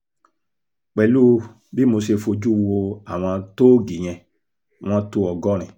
pẹ̀lú bí mo ṣe fojú wo àwọn tóógì yẹn wọ́n tó ọgọ́rin